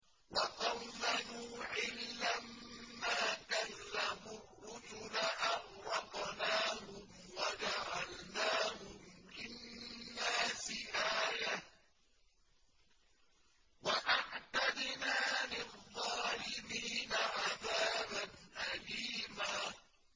وَقَوْمَ نُوحٍ لَّمَّا كَذَّبُوا الرُّسُلَ أَغْرَقْنَاهُمْ وَجَعَلْنَاهُمْ لِلنَّاسِ آيَةً ۖ وَأَعْتَدْنَا لِلظَّالِمِينَ عَذَابًا أَلِيمًا